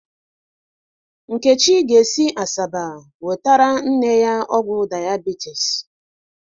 Nkechi ga-esi Asaba nwetara nne ọgwụ diabetes.